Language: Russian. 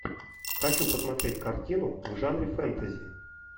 хочу посмотреть картину в жанре фэнтези